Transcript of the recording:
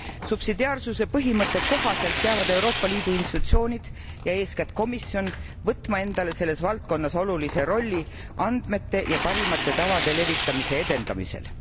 Subsidiaarsuse põhimõtte kohaselt peavad Euroopa Liidu institutsioonid ja eeskätt komisjon võtma endale selles valdkonnas olulise rolli andmete ja parimate tavade levitamise edendamisel.